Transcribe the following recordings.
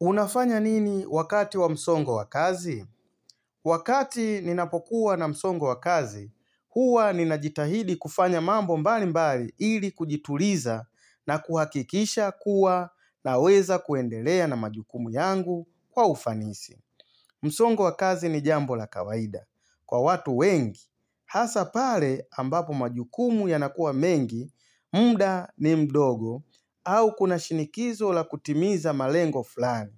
Unafanya nini wakati wa msongo wa kazi? Wakati ninapokuwa na msongo wa kazi, huwa ninajitahidi kufanya mambo mbali mbali ili kujituliza na kuhakikisha kuwa na weza kuendelea na majukumu yangu kwa ufanisi. Msongo wa kazi ni jambo la kawaida. Kwa watu wengi, hasa pale ambapo majukumu yanakuwa mengi, muda ni mdogo au kuna shinikizo la kutimiza malengo fulani.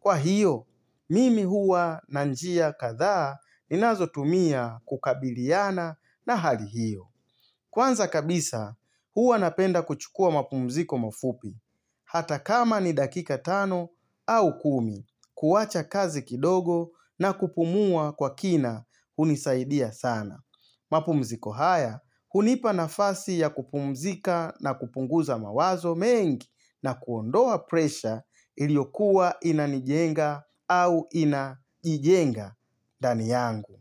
Kwa hiyo, mimi huwa na njia kathaa ninazo tumia kukabiliana na hali hiyo. Kwanza kabisa, huwa napenda kuchukua mapumziko mafupi, hata kama ni dakika tano au kumi, kuwacha kazi kidogo na kupumua kwa kina hunisaidia sana. Mapumziko haya, hunipa nafasi ya kupumzika na kupunguza mawazo mengi na kuondoa presha iliokuwa inanijenga au inaijenga ndani yangu.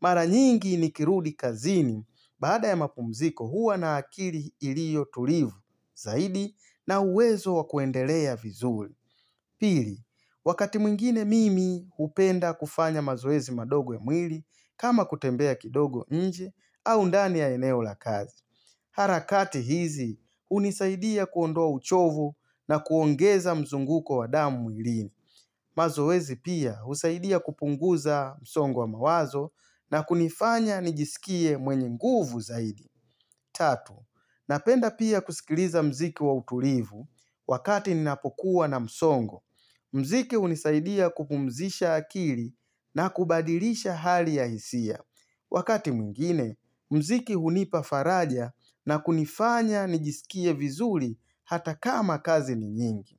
Maranyingi nikirudi kazini, baada ya mapumziko huwa na akili ilio tulivu zaidi na uwezo wakuendelea vizuri. Pili, wakati mwingine mimi hupenda kufanya mazoezi madogo ya mwili kama kutembea kidogo nje au ndani ya eneo la kazi. Harakati hizi hunisaidia kuondoa uchovu na kuongeza mzunguko wa damu mwilini. Mazoezi pia husaidia kupunguza msongo wa mawazo na kunifanya nijisikie mwenye nguvu zaidi. 3. Napenda pia kusikiliza mziki wa utulivu wakati ninapokuwa na msongo. Mziki hunisaidia kupumzisha akili na kubadilisha hali ya hisia. Wakati mwingine, mziki hunipafaraja na kunifanya nijisikie vizuri hata kama kazi ni nyingi.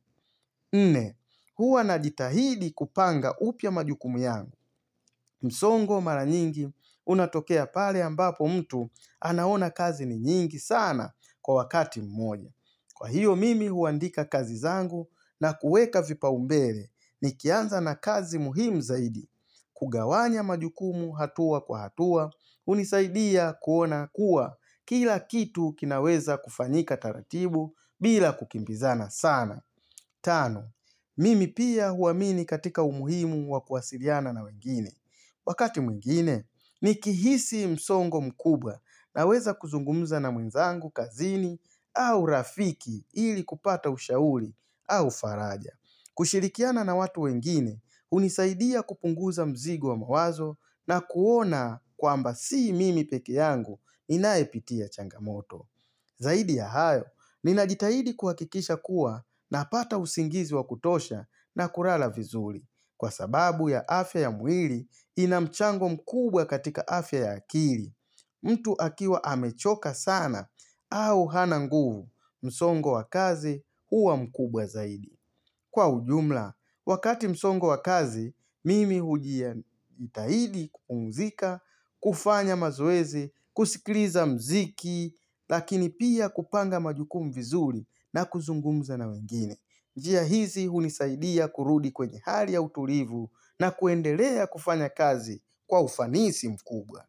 Nne, huwa na jitahidi kupanga upya majukumu yangu, msongo mara nyingi unatokea pale ambapo mtu anaona kazi ni nyingi sana kwa wakati mmoja. Kwa hiyo mimi huandika kazi zangu na kueka vipaumbele nikianza na kazi muhimu zaidi kugawanya majukumu hatua kwa hatua, hunisaidia kuona kuwa kila kitu kinaweza kufanyika taratibu bila kukimbizana sana. Tano, mimi pia huamini katika umuhimu wa kuwasiliana na wengine. Wakati mwingine, nikihisi msongo mkubwa naweza kuzungumza na mwenzangu kazini au rafiki ili kupata ushauri au faraja. Kushirikiana na watu wengine, hunisaidia kupunguza mzigo wa mawazo na kuona kwamba si mimi pekee yangu ninayepitia changamoto. Zaidi ya hayo, ninajitahidi kuhakikisha kuwa napata usingizi wa kutosha na kulala vizuri kwa sababu ya afya ya mwili inamchango mkubwa katika afya ya akili. Mtu akiwa amechoka sana au hana nguvu msongo wa kazi huwa mkubwa zaidi. Kwa ujumla, wakati msongo wa kazi, mimi hujia tahidi kupumzika, kufanya mazoezi, kusikliza mziki, lakini pia kupanga majukumu vizuri na kuzungumza na wengine. Njia hizi hunisaidia kurudi kwenye hali ya utulivu na kuendelea kufanya kazi kwa ufanisi mkubwa.